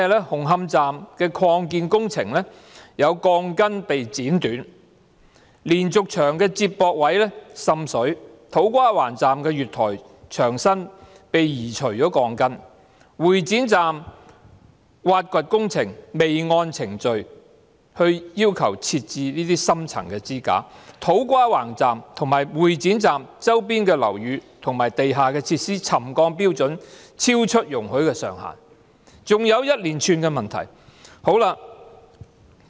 紅磡站的擴建工程有鋼筋被剪短、連續牆的接駁位滲水、土瓜灣站的月台牆身鋼筋被移除、會展站的挖掘工程未按程序要求設置深層支架、土瓜灣站和會展站周邊的樓宇和地下設施的沉降標準超出容許的上限，還有一連串其他問題。